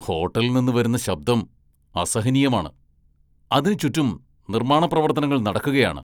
ഹോട്ടലിൽ നിന്ന് വരുന്ന ശബ്ദം അസഹനീയമാണ്, അതിന് ചുറ്റും നിർമ്മാണ പ്രവർത്തനങ്ങൾ നടക്കുകയാണ്.